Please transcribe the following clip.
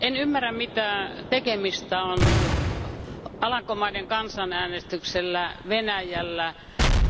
En ymmärrä, mitä tekemistä on Alankomaiden kansanäänestyksellä, Venäjällä